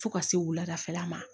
Fo ka se wuladafɛla ma